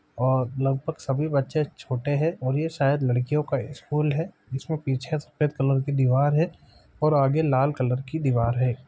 और लगभग सभी बच्चे छोटे है और ये शायद लड़कियों का स्कूल है जिसमें पीछे सफेद कलर कि दीवार है और आगे लाल कलर कि दीवार है।